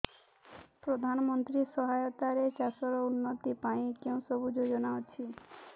ପ୍ରଧାନମନ୍ତ୍ରୀ ସହାୟତା ରେ ଚାଷ ର ଉନ୍ନତି ପାଇଁ କେଉଁ ସବୁ ଯୋଜନା ଅଛି